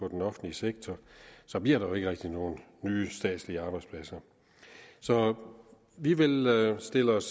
den offentlige sektor så bliver der jo ikke rigtig nogen nye statslige arbejdspladser så vi vil stille os